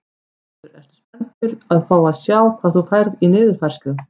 Hjörtur: Ertu spenntur að fá að sjá hvað þú færð í niðurfærslu?